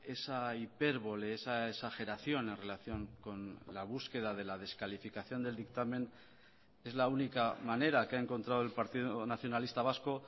esa hipérbole esa exageración en relación con la búsqueda de la descalificación del dictamen es la única manera que ha encontrado el partido nacionalista vasco